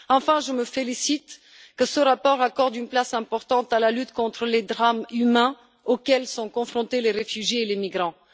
Enfin, je me félicite que ce rapport accorde une place importante à la lutte contre les drames humains auxquels sont confrontés les réfugiés et les migrants.